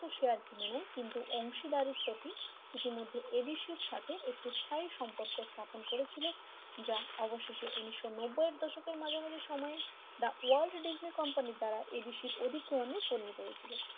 সে আর কিনে নেয় কিন্তু অংশীদারের প্রতি ইতিমধ্যে এবিসি সাথে একটি স্থায়ী সম্পর্ক স্থাপন করেছিল যা অবশেষ উনিশও নব্যাই এর দশকের মাঝামাঝি সময়ে the Walt Disney company দ্বারা এবিসি অধি গ্রহণে পরিণত হয়েছিল,